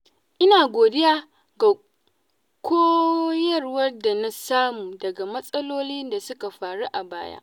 Ina godiya ga koyarwar da na samu daga matsalolin da suka faru a baya.